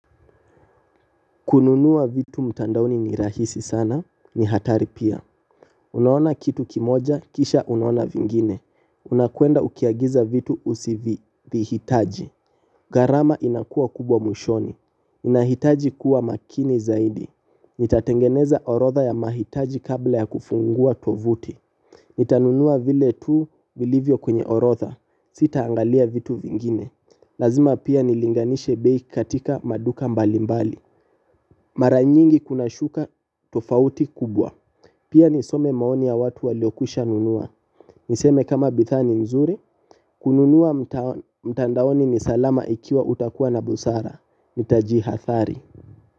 Kununua vitu mtandaoni ni rahisi sana, ni hatari pia. Unaona kitu kimoja, kisha unaona vingine. Unakwenda ukiagiza vitu usivyovihitaji. Gharama inakuwa kubwa mwishoni. Inahitaji kuwa makini zaidi. Nitatengeneza orotha ya mahitaji kabla ya kufungua tovuti. Nitanunua vile tu vilivyo kwenye orotha. Sitangalia vitu vingine. Lazima pia nilinganishe bei katika maduka mbalimbali. Mara nyingi kuna shuka tofauti kubwa. Pia nisome maoni ya watu waliokwisha nunua. Niseme kama bidhaa nzuri. Kununua mtandaoni ni salama ikiwa utakuwa na busara. Utajihathari.